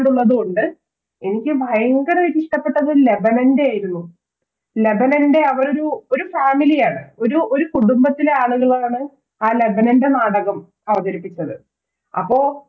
തുകൊണ്ട് എനിക്ക് ഭയങ്കരയിട്ട് ഇഷ്ടപ്പെട്ടത് ലതനൻറെയായിരുന്നു ലതനൻറെ അവരോരു ഒരു Family ആണ് ഒരു കുടുംബത്തിലെ ആളുകളാണ് ആ ലതനൻറെ നാടകം അവതരിപ്പിച്ചത് അപ്പൊ